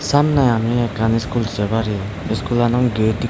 samne ami ekkan school se parir school lanot gate ikko.